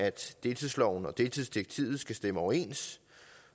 at deltidsloven og deltidsdirektivet skal stemme overens